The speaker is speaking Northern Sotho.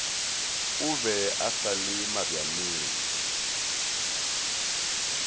o be a sale mabjaneng